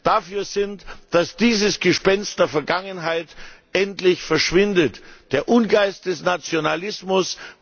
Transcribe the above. dafür sind, dass dieses Gespenst der Vergangenheit endlich verschwindet der Ungeist des Nationalismus.